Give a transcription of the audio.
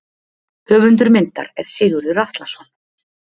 Höfundur myndar er Sigurður Atlason.